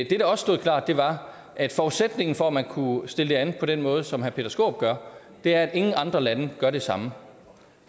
der også stod klart var at forudsætningen for at man kunne stille det an på den måde som herre peter skaarup gør er at ingen andre lande gør det samme